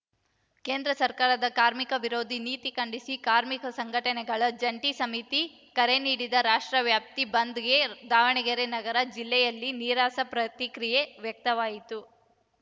ಕೇಂದ್ರ ಸರ್ಕಾರದ ಕಾರ್ಮಿಕ ವಿರೋಧಿ ನೀತಿ ಖಂಡಿಸಿ ಕಾರ್ಮಿಕ ಸಂಘಟನೆಗಳ ಜಂಟಿ ಸಮಿತಿ ಕರೆ ನೀಡಿದ ರಾಷ್ಟ್ರವ್ಯಾಪಿ ಬಂದ್‌ಗೆ ದಾವಣಗೆರೆ ನಗರ ಜಿಲ್ಲೆಯಲ್ಲಿ ನೀರಸ ಪ್ರತಿಕ್ರಿಯೆ ವ್ಯಕ್ತವಾಯಿತು